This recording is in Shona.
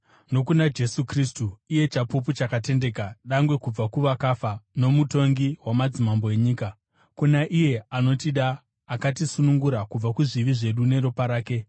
nokuna Jesu Kristu, iye chapupu chakatendeka, dangwe kubva kuvakafa, nomutongi wamadzimambo enyika. Kuna iye anotida uye akatisunungura kubva kuzvivi zvedu neropa rake,